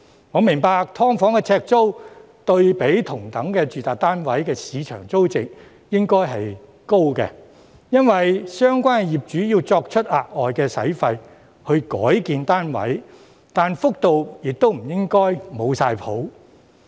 我明白"劏房"的呎租對比同等的住宅單位的市場租值應該是高的，因為相關業主要支付額外費用來改建單位，但幅度亦不應該"冇晒譜"。